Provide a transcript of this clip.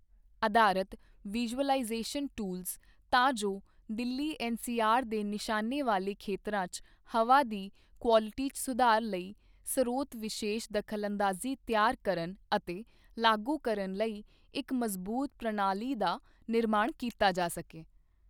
ਅਧਾਰਤ visualisation tools, ਤਾਂ ਜੋ ਦਿੱਲੀ ਐਨਸੀਆਰ ਦੇ ਨਿਸ਼ਾਨੇ ਵਾਲੇ ਖੇਤਰਾਂ ਚ ਹਵਾ ਦੀ ਕੁਆਲਟੀ ਚ ਸੁਧਾਰ ਲਈ ਸਰੋਤ ਵਿਸ਼ੇਸ਼ ਦਖਲਅੰਦਾਜ਼ੀ ਤਿਆਰ ਕਰਨ ਅਤੇ ਲਾਗੂ ਕਰਨ ਲਈ ਇਕ ਮਜ਼ਬੂਤ ਪ੍ਰਣਾਲੀ ਦਾ ਨਿਰਮਾਣ ਕੀਤਾ ਜਾ ਸਕੇ।